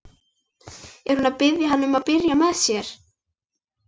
Er hún að biðja hann um að byrja með sér?